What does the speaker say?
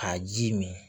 A ji min